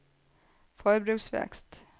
forbruksvekst